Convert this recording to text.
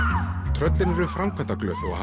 tröllin eru framkvæmdaglöð og